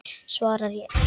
Svarar ekki.